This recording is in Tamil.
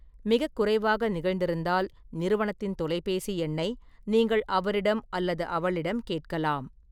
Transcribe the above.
மிகக் குறைவாக நிகழ்ந்திருந்தால், நிறுவனத்தின் தொலைபேசி எண்ணை நீங்கள் அவரிடம் அல்லது அவளிடம் கேட்கலாம்.